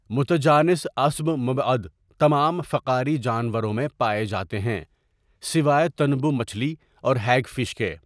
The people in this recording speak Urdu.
متجانس عصب مبعد تمام فقاری جانوروں میں پائے جاتے ہیں سوائے تنبو مچھلی اور ہیگ فش کے۔